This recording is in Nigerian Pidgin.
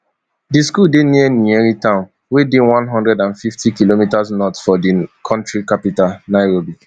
di school dey near nyeri town wey dey one hundred and fiftykm north of di kontri capital nairobi